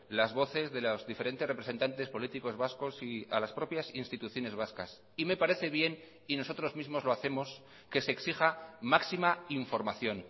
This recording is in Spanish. las voces de los diferentes representantes políticos vascos y a las propias instituciones vascas y me parece bien y nosotros mismos lo hacemos que se exija máxima información